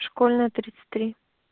школьная тридцать три